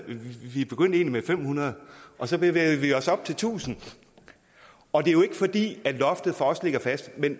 vi begyndte egentlig med fem hundrede og så bevægede vi os op til tusind og det er jo ikke fordi loftet for os ligger fast